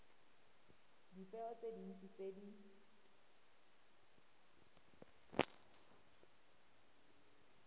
dipeo tse dintsi tse di